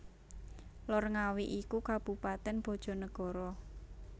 Lor Ngawi iku Kabupaten Bojonegoro